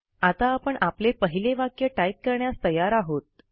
आता आपण आपले पहिले वाक्य टाईप करण्यास तयार आहोत